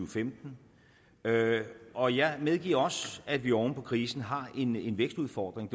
femten og jeg medgiver også at vi oven på krisen har en vækstudfordring